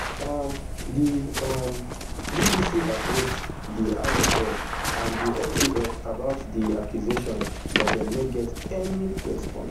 um di um bbc approach di rsf and di saf about di accusations but dem no get any response